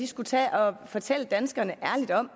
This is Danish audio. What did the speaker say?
skulle tage at fortælle danskerne ærligt om